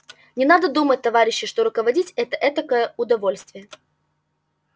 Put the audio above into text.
не надо думать товарищи что руководить это этакое удовольствие